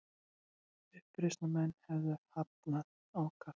Uppreisnarmenn hefðu fagnað ákaft